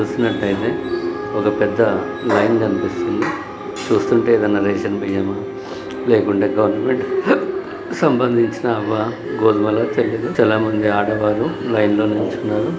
ఇక్కడ చూస్తున్నట్లు అయితే ఒక పెద్ద లైన్ కనిపిస్తుంది. చూస్తుంటే ఏదయినా రేషన్ బియ్యం లేకుంటే గవర్నమెంట్ సంబంధించిన గోధుమలు చాలా మంది ఆడవాళ్ళు లైన్ లో నిల్చున్నారు.అటు వైపు మగ వాళ్ళు కూడా లైన్ లో నిల్చున్నారు.